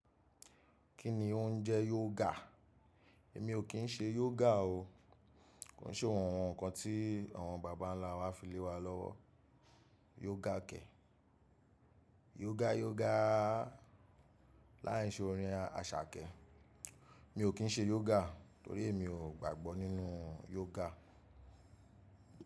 Kí ni ó ń jẹ yoga? Èmi ò kí ń ṣe yoga o. Kò ṣe ohun kan tí àwọn bàbà ńlá wa fi lé wa lọ́wọ́. Yoga kẹ̀. Yoga yoga. Láì ṣe orin Àṣàkẹ́. Mi ò kí ń ṣe yoga torí mi ò gbàgbọ́ nínú yoga.